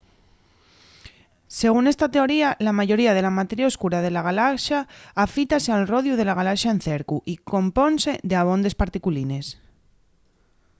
según esta teoría la mayoría de la materia oscura de la galaxa afítase al rodiu la galaxa en cercu y compónse d'abondes particulines